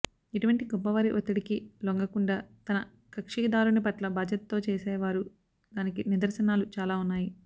ఎటువంటి గొప్ప వారి వత్తిడికీ లొంగకుండా తన కక్షిదారుని పట్ల బాధ్యతో చేశేవారు దానికి నిదర్శనాలు చాల ఉన్నాయి